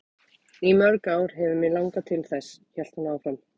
Í mörg ár hefur mig langað til þess, hélt hún áfram.